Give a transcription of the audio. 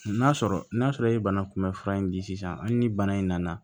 N'a sɔrɔ n'a sɔrɔ i ye bana kunbɛn fura in di sisan hali ni bana in nana